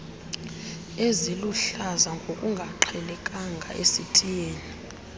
eziluhlaza ngokungaqhelekanga esitiyeni